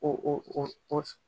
O